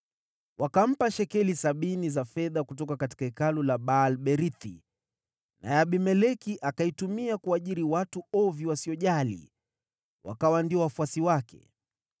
Wakampa shekeli sabini za fedha kutoka hekalu la Baal-Berithi, naye Abimeleki akaitumia kuajiri watu ovyo wasiojali, wakawa ndio wafuasi wake.